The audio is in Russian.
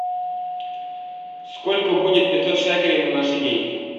сколько будет пятьсот шекелей на наши деньги